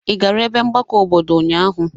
Ị gara ebe mgbakọ obodo ụnyaahụ?